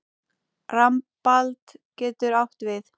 Rambald getur átt við